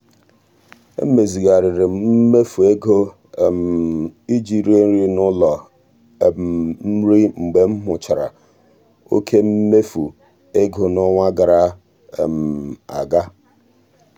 e mezigharịrị m mmefu ego um ije rie nri n'ụlọ um nri mgbe m hụchara oké mmefu ego n'ọnwa gara um aga.